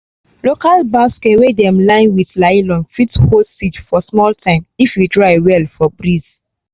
local basket wey dem line with nylon fit hold seed for smal time if e dry well for breeze